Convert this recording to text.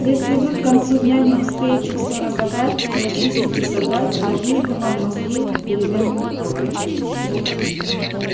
если вы к концу дня не успеете всё разобрать прочистить и собрать я выжгу вам мозги переменным током